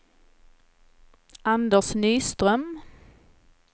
Anders Nyström